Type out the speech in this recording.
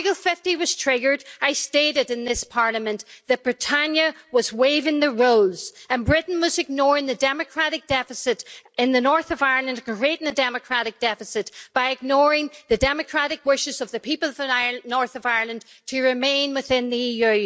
When Article 50 was triggered, I stated in this Parliament that Britannia was waiving the rules and Britain was ignoring the democratic deficit in the north of Ireland indeed, creating a democratic deficit by ignoring the democratic wishes of the people of the north of Ireland to remain within the EU.